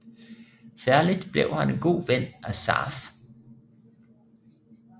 Særlig blev han en god ven af Sars